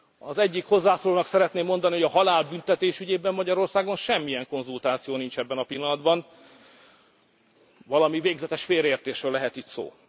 Az egyik hozzászólónak szeretném mondani, hogy a halálbüntetés ügyében Magyarországon semmilyen konzultáció nincs ebben a pillanatban, valami végzetes félreértésről lehet itt